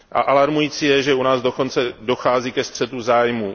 Alarmující je, že u nás dokonce dochází ke střetu zájmů.